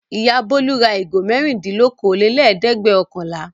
Ìyá Bólú ra ìgò mẹ́rindínlókòólélẹ́ẹ̀dẹ́gbẹ̀ọ̀kànlá.